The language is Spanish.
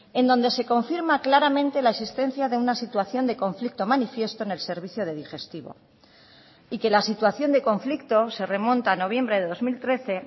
en donde se confirma claramente la existencia de una situación de conflicto manifiesto en el servicio de digestivo y que la situación de conflicto se remonta a noviembre de dos mil trece